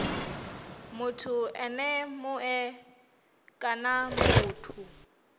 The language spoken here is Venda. muthu ene mue kana muthu